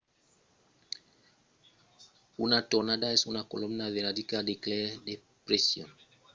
una tornada es una colomna viradissa d’aire de pression fòrça bassa que chuca l’aire que l'enròda cap a l'interior e amondaut